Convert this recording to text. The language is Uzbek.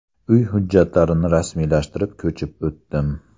Uy hujjatlarini rasmiylashtirib, ko‘chib o‘tdim.